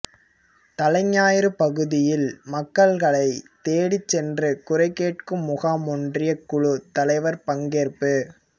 தலைஞாயிறு பகுதியில் மக்களை தேடி சென்று குறை கேட்கும் முகாம் ஒன்றியக்குழு தலைவர் பங்கேற்பு